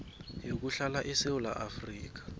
yokuhlala esewula afrika